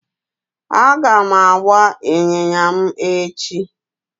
Aga m agba ịnyịnya m echi